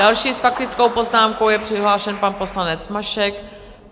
Další s faktickou poznámkou je přihlášen pan poslanec Mašek.